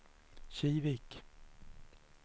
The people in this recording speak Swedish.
Kivik